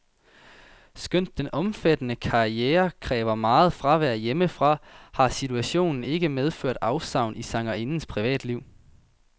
Skønt den omfattende karriere kræver meget fravær hjemmefra, har situationen ikke medført afsavn i sangerindens privatliv.